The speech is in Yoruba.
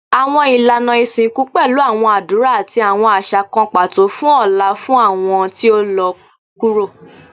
Awọn ilana isinku pẹlu awọn adura ati awọn aṣa kan pato fun ọlá fun awọn ti o lọ kuro